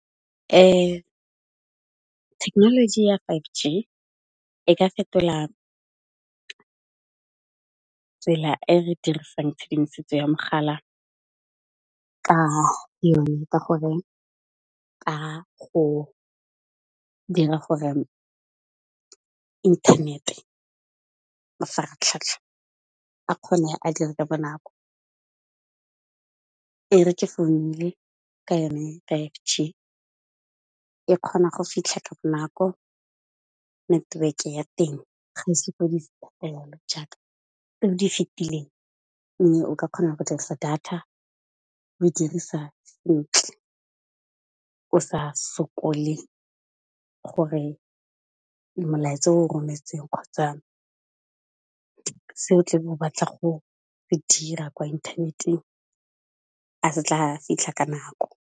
Thekenoloji ya five G e ka fetola tsela e re dirisang tshedimosetso ya mogala ka yone ka gore, ka go dira gore internet-e mafaratlhatlha a kgone a dire ka bonako, e re ke founile ka yone five G e kgona go fitlha ka bo nako network ya teng ga e sokodise jaaka e di fitileng mme o ka kgona go dirisa data oe dirisa ntle, o sa sokole gore molaetsa o rometseng kgotsa se o tla be o batla go e dira kwa inthaneteng a se tla fitlha ka nako.